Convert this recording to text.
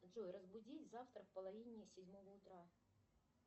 джой разбудить завтра в половине седьмого утра